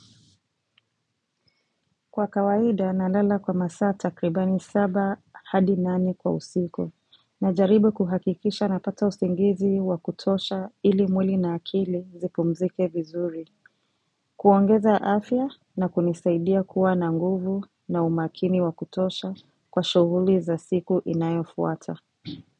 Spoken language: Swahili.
Kwa kawaida, nalala kwa masaa takribani saba hadi nani kwa usiku, najaribu kuhakikisha napata usingizi wa kutosha ili mwili na akili zipumzike vizuri, kuongeza afya na kunisaidia kuwa na nguvu na umakini wa kutosha kwa shughuli za siku inayofuata.